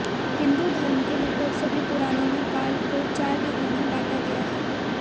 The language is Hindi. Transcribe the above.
हिंदू धर्म के लगभग सभी पुराणों में काल को चार युगों में बाँटा गया है